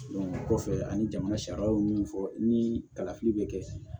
o kɔfɛ ani jamana sariya ye mun fɔ ni kalafili bɛ kɛ